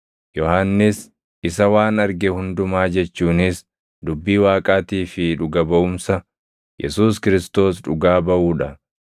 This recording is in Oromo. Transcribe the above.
Yohannis isa waan arge hundumaa jechuunis dubbii Waaqaatii fi dhuga baʼumsa Yesuus Kiristoos dhugaa baʼuu dha.